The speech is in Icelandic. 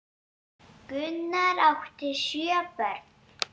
Gunnar átti sjö börn.